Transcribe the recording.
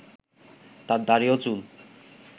তার দাড়ি ও চুল